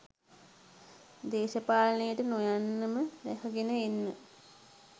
දේශපාලනයට නොයන්නම රැකගෙන ඉන්න.